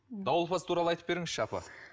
дауылпаз туралы айтып беріңізші апа